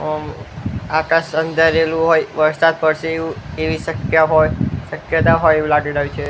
આકાશ અંધારેલું હોઈ વરસાદ પડસે એવુ એવી શક્ય હોઈ શક્યતા હોય એવુ લાગી રહ્યુ છે.